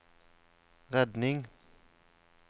redning